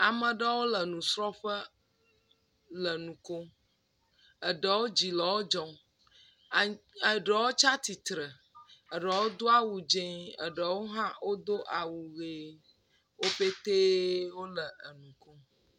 Ameɖewo le nusrɔ̃ƒe le nu kom, eɖewo dzi le wo dzɔm, eɖewo tsi atsitre eɖewo do awu dzɛɛ, eɖewo hã wodo awuhee wo petee wole enu kom.